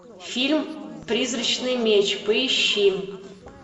фильм призрачный меч поищи